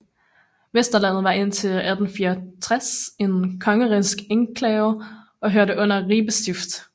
Vesterlandet var indtil 1864 en kongerigsk enklave og hørte under Ribe Stift